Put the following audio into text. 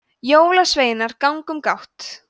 jólasveinar ganga um gátt